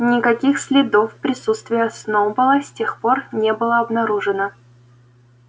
никаких следов присутствия сноуболла с тех пор не было обнаружено